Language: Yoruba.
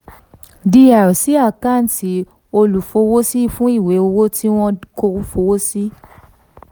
dr sí àkáǹtì olúfọwọ́sí fún ìwé owó tí wọ́n fọwọ́ sí